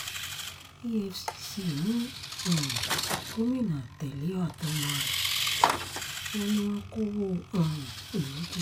efcc mú um gómìnà tẹ́lẹ̀ àtọmọ ẹ̀ wọn ni wọ́n kọ́wọ́ um ìlú jẹ